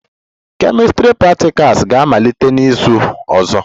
Chemistry practicals ga-amalite n'izu ọzọ